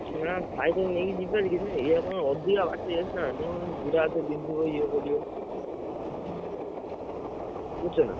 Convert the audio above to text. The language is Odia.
ହଁ cycle ନେଇକି ଯିବି ଭାରି ଯେ, କିଛି ନାହି ଇଏ କଣ ଅଧିକ ବାଟ ହେଇଯାଉଛି ନା! ଗୋଡ ହାତ ବିନ୍ଧିବ ଇଏ କରିବ ବୁଝୁଛ ନା?